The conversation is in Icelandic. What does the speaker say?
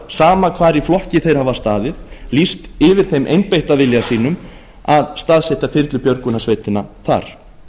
sama hvar í flokki þeir hafa staðið lýst yfir þeim einbeitta vilja sínum að staðsetja þyrlubjörgunarsveitina þar